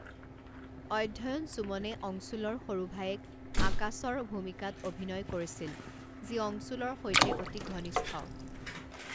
অধ্যয়ন সুমনে অংশুলৰ সৰু ভায়েক আকাশৰ ভূমিকাত অভিনয় কৰিছিল, যি অংশুলৰ সৈতে অতি ঘনিষ্ঠ।